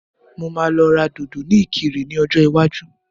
Mo máa lọ ra dòdò ní ìkirè ní ọjọ́ iwájú